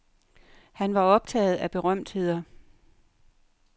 Han var optaget af berømtheder.